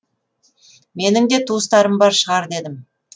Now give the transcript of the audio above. менің де туыстарым бар шығар дедім